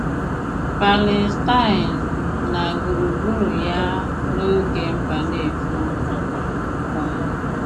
Pàlèstàin na gbùrùgbùrụ̀ ya n’òge Mbànéfò. um